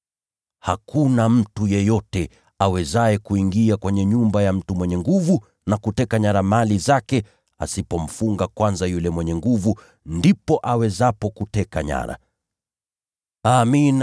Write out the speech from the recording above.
Hakuna mtu yeyote awezaye kuingia kwenye nyumba ya mtu mwenye nguvu na kuteka nyara mali zake asipomfunga kwanza yule mwenye nguvu. Ndipo ataweza kuteka nyara mali zake.